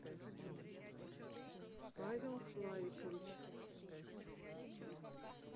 павел славикович